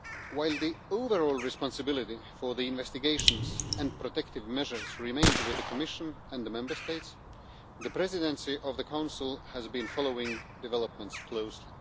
While the overall responsibility for the investigations and protective measures remains with the Commission and the Member States, the Presidency of the Council has been following developments closely.